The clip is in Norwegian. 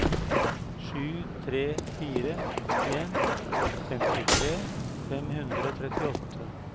sju tre fire en femtitre fem hundre og trettiåtte